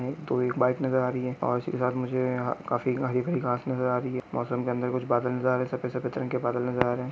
तो एक बाइक नजर आ रही है और इसी के साथ मुझे काफी हरी भरी घास नजर आ रही है मोसम के अंदर कूछ बादल नजर आ रहे है सफ़ेद सफ़ेद बादल नजर आ रहे है।